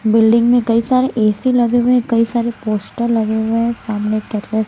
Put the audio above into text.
building मे कई सारे ए_सी लगे हुए हैं कई सारे पोस्टर लगे हुए हैं सामने कैटल--